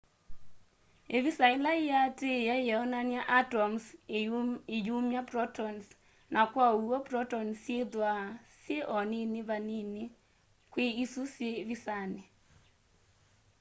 ivisa ila yiatiie yionany'a atoms iyumya protons na kwa uw'o protons syithwaa syi o nini vanini kwi isu syi visani